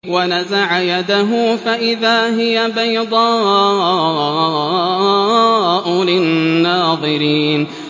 وَنَزَعَ يَدَهُ فَإِذَا هِيَ بَيْضَاءُ لِلنَّاظِرِينَ